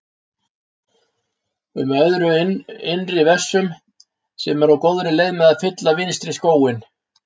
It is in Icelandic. um öðrum innri vessum sem eru á góðri leið með að fylla vinstri skóinn.